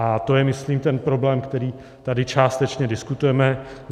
A to je, myslím, ten problém, který tady částečně diskutujeme.